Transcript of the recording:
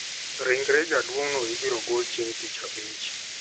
Ringre jaduong`no ibiro gol chieng` tich abich.